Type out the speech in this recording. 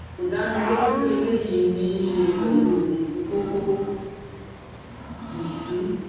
Kò dá mi lójú pé eléyìí ní í ṣe pẹ̀lú kókó/ìsù